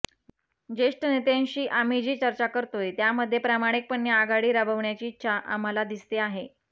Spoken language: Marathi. जेष्ठ नेत्यांशी आम्ही जी चर्चा करतोय त्यामध्ये प्रामाणिकपणे आघाडी राबवण्याची इच्छा आम्हाला दिसते आहे